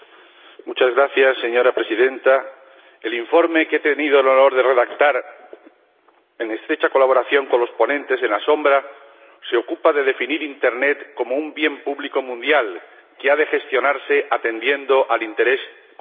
Señora Presidenta, el informe que he tenido el honor de redactar, en estrecha colaboración con los ponentes alternativos, se ocupa de definir Internet como un bien público mundial que ha de gestionarse atendiendo al interés común general.